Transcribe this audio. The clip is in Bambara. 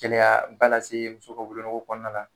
Gɛlɛyaba lase muso ka wolonugu kɔnɔna na